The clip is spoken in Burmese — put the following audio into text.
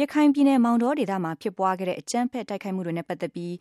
ရခိုင်ပြည်နယ်မောင်တောဒေသမှာ ဖြစ်ပွားခဲ့တဲ့အကြမ်းဖက် တိုက်ခိုက်မှုတွေနဲ့ပတ်သက်ပြီး